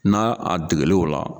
N'a a dɛgɛl' o la